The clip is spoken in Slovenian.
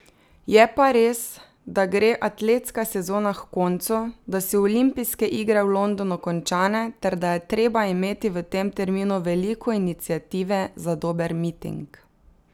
Je pa res, da gre atletska sezona h koncu, da so olimpijske igre v Londonu končane ter da je treba imeti v tem terminu veliko iniciative za dober miting.